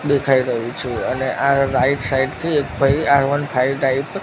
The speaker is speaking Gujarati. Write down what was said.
દેખાય રહ્યું છે અને આ રાઈટ સાઇડ થી એક ભઈ આર વન ફાઈવ ટાઈપ --